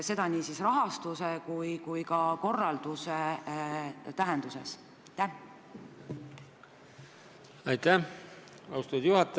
Pean silmas nii rahastust kui ka kõige selle korraldust.